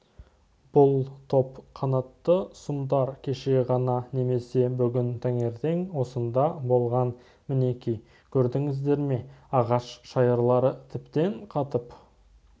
бұл тор қанатты сұмдар кеше ғана немесе бүгін таңертең осында болған мінеки көрдіңіздер ме ағаш шайырлары тіптен қатып